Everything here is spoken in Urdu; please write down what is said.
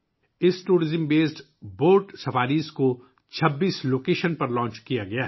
سیاحت پر مبنی یہ بوٹ سفاری 26 مقامات پر شروع کی گئی ہے